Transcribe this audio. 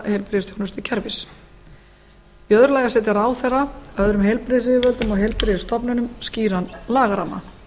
heilbrigðisþjónustukerfis í öðru lagi að setja ráðherra og öðrum heilbrigðisyfirvöldum og heilbrigðisstofnunum skýran lagaramma